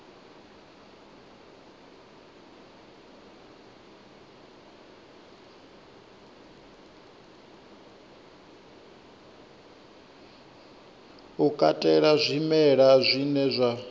u katela zwimela zwine zwa